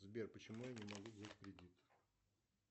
сбер почему я не могу взять кредит